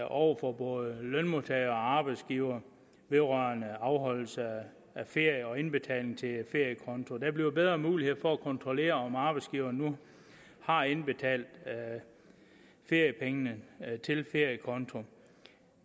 over for både lønmodtagere og arbejdsgivere vedrørende afholdelse af ferie og indbetaling til feriekonto der bliver bedre muligheder for at kontrollere om arbejdsgiverne nu har indbetalt feriepengene til feriekonto